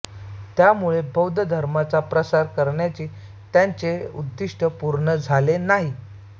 त्यामुळे बौद्ध धर्माचा प्रसार करण्याचे त्यांचे उद्दिष्ट पूर्ण झाले नाही